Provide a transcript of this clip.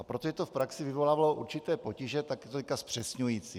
A protože to v praxi vyvolávalo určité potíže, tak je to teď zpřesňující.